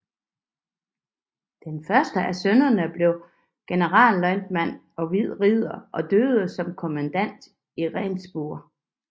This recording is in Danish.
Den første af sønnerne blev generalløjtnant og hvid ridder og døde som kommandant i Rendsburg